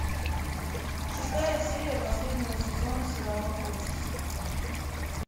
шестая серия последнего сезона сериала общество